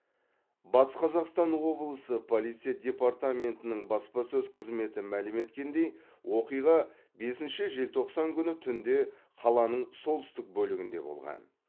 батыс қазақстан облысы полиция департаментінің баспасөз қызметі мәлім еткендей оқиға бесінші желтоқсан күні түнде қаланың солтүстік бөлігінде болған